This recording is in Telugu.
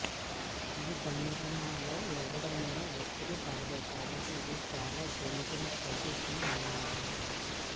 ఈ భంగిమలో ఎవరిమీదీ ఒత్తిడి పడదు కాబట్టి ఇది చాలా జెంటిల్ పొజిషన్ అంటారు